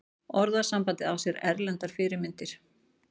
Orðasambandið á sér erlendar fyrirmyndir.